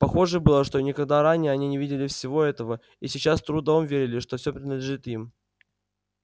похоже было что никогда ранее они не видели всего этого и сейчас с трудом верили что все принадлежит им